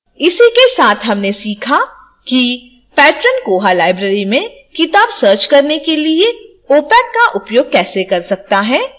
इसी के साथ हमने सीखा है कि patron koha library में किताब search करने के लिए opac का उपयोग कैसे कर सकता है